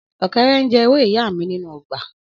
Ọkẹrẹ n je ewe iya mi ninu ogba.